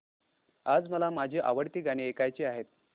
आज मला माझी आवडती गाणी ऐकायची आहेत